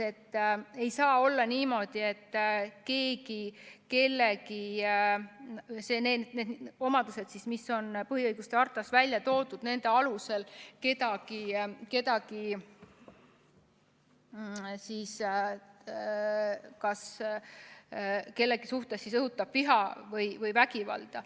Ei saa olla niimoodi, et nende omaduste alusel, mis on põhiõiguste hartas välja toodud, saab kellegi suhtes õhutada viha või vägivalda.